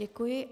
Děkuji.